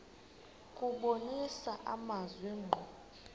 kubonisa amazwi ngqo